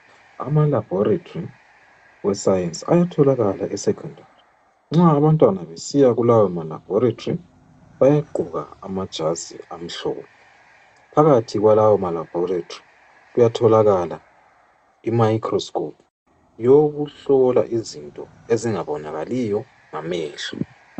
Ama laboratory e science ayatholakala e secondary nxa abantwana besiya kulawo ma Laboratory bayagqoka amajazi amhlophe phakathi kwalowo ma Laboratory kuyatholakala I microscope eyokuhlola izinto ezingabonakali ngamehlo.